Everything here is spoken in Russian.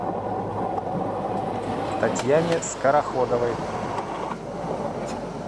татьяне скороходовой